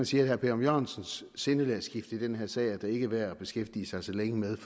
sige at herre per ørum jørgensens sindelagsskifte i den her sag er det ikke værd at beskæftige sig så længe med